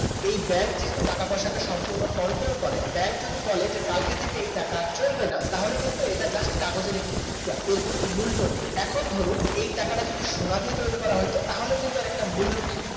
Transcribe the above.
এই ব্যাংক যেহেতু টাকা পয়সা টা সম্পূর্ণ control করে ব্যাংক যদি বলে কালকে থেকে এই টাকা আর চলবে না, তাহলে কিন্তু এটি just কাগজের একটি টুকরা এর কোন মূল্য নেই এখন ধরুন এই টাকাটা যদি সোনা দিয়ে তৈরি করা হইতো তাহলে কিন্তু এর একটা মূল্য থাকতো